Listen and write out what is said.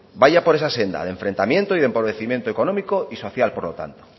vaya por esa senda de enfrentamiento y de empobrecimiento económico y social por lo tanto